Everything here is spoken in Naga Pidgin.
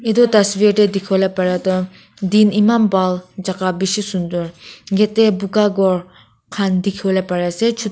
etu dazveer de dikibolae para tu din eman bhal jaga bishi sundor gate de buka ghor kan dikibolae pari ase chutu.